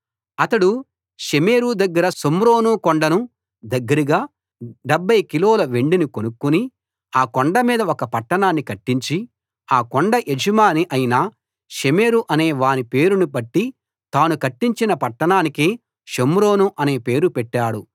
అతడు షెమెరు దగ్గర షోమ్రోను కొండను దగ్గరగా 70 కిలోల వెండిని కొనుక్కుని ఆ కొండ మీద ఒక పట్టణాన్ని కట్టించి ఆ కొండ యజమాని అయిన షెమెరు అనే వాని పేరును బట్టి తాను కట్టించిన పట్టణానికి షోమ్రోను అనే పేరు పెట్టాడు